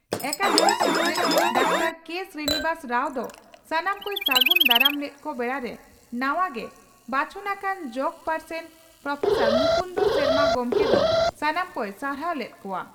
ᱟᱠᱟᱫᱮᱢᱤ ᱥᱩᱛᱨᱮᱫ doctor K Srinivas Rao ᱫᱚ ᱥᱟᱱᱟᱢ ᱠᱚᱭ ᱥᱟᱹᱜᱩᱱ ᱫᱟᱨᱟᱢ ᱞᱮᱫ ᱠᱚ ᱵᱮᱲᱟᱨᱮ ᱱᱟᱣᱟ ᱜᱮ ᱵᱟᱪᱷᱚᱱ ᱟᱠᱟᱱ ᱡᱚᱜᱚ ᱯᱟᱨᱥᱮᱛ ᱯᱨᱹ ᱢᱩᱠᱩᱱᱫᱚ ᱥᱚᱨᱢᱟ ᱜᱚᱢᱠᱮ ᱫᱚ ᱥᱟᱱᱟᱢ ᱠᱚᱭ ᱥᱟᱨᱦᱟᱣ ᱞᱮᱫ ᱠᱚᱣᱟ ᱾